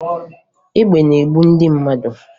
Egbe na-egbu ndị mmadụ